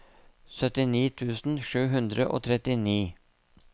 syttini tusen sju hundre og trettini